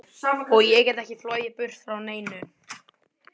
Og ég get ekki flogið burt frá neinu.